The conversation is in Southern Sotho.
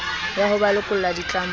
ya ho ba lokolla ditlamong